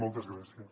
moltes gràcies